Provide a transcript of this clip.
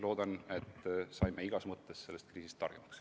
Loodan, et saime igas mõttes selle kriisi käigus targemaks.